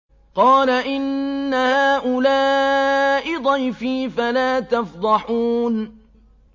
قَالَ إِنَّ هَٰؤُلَاءِ ضَيْفِي فَلَا تَفْضَحُونِ